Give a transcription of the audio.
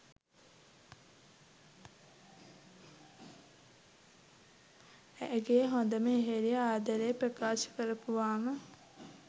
ඇගේ හොඳම යෙහෙලිය ආදරේ ප්‍රකාශ කරපුවාම?